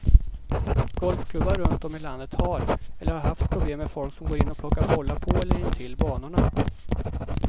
Golfklubbar runt om i landet har, eller har haft problem med folk som går in och plockar bollar på eller intill banorna.